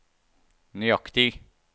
nøyaktig